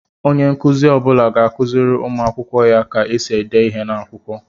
Onye nkụzi ọbula ga-akụziri ụmụ akwụkwọ ya ka esi ede ihe n'akwụkwọ.